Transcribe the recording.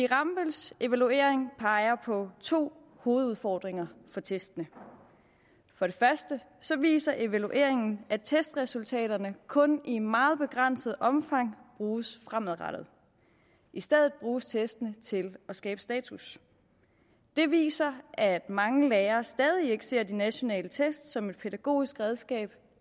rambølls evaluering peger på to hovedudfordringer for testene for det første viser evalueringen at testresultaterne kun i meget begrænset omfang bruges fremadrettet i stedet bruges testene til at skabe status det viser at mange lærere stadig ikke ser de nationale test som et pædagogisk redskab